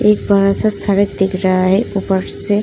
एक बड़ा-सा सड़क दिख रहा है। ऊपर से --